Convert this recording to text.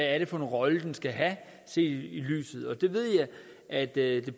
er for en rolle det skal have set i lyset og det ved jeg at det